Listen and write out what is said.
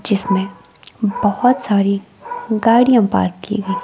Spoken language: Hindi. जिसमें बहोत सारी गाड़ियाँ पार्क की हुई--